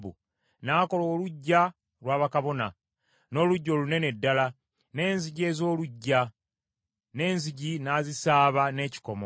N’akola oluggya lwa bakabona, n’oluggya olunene ddala, n’enzigi ez’oluggya, n’enzigi n’azisaaba n’ekikomo.